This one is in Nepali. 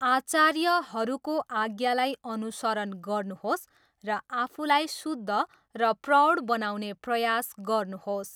आचार्यहरूको आज्ञालाई अनुसरण गर्नुहोस् र आफूलाई शुद्ध र प्रौढ बनाउने प्रयास गर्नुहोस्।